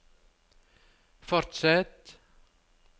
fortsett